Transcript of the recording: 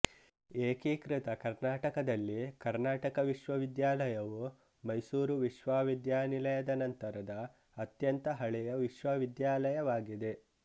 ಏಕೀಕೃತ ಕರ್ನಾಟಕದಲ್ಲಿ ಕರ್ನಾಟಕ ವಿಶ್ವವಿದ್ಯಾಲಯವು ಮೈಸೂರು ವಿಶ್ವವಿದ್ಯಾನಿಲಯದ ನಂತರದ ಅತ್ಯಂತ ಹಳೆಯ ವಿಶ್ವವಿದ್ಯಾಲಯವಾಗಿದೆ